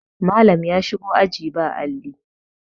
Malam ya shigo aji ba Alli